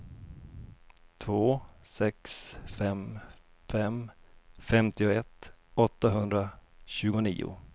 två sex fem fem femtioett åttahundratjugonio